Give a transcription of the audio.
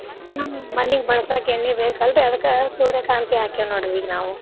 ಹ್ಮ್ ಮನೀಗ್ ಬಳ್ಸ್ಯಾಕ್ ಎಣ್ಣಿ ಬೇಕಲ್ರಿ ಅದ್ಕ ಸೂರ್ಯಕಾಂತಿ ಹಾಕೇವ್ ನೋಡ್ರಿ ಈಗ್ ನಾವು.